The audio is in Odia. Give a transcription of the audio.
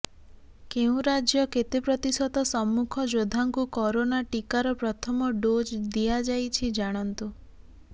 କେଉଁ ରାଜ୍ୟ କେତେ ପ୍ରତିଶତ ସମ୍ମୁଖ ଯୋଦ୍ଧାଙ୍କୁ କରୋନା ଟିକାର ପ୍ରଥମ ଡୋଜ୍ ଦିଆଯାଇଛି ଜାଣନ୍ତୁ